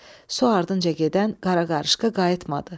Su ardınca gedən qara qarışqa qayıtmadı.